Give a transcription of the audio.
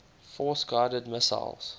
force guided missiles